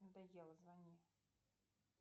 надоело звони